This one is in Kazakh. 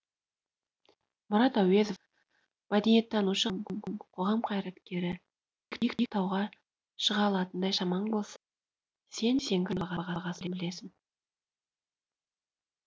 мұрат әуезов мәдениеттанушы ғалым қоғам қайраткері биік тауға шыға алатындай шамаң болса сен сеңгір таудың бағасын білесің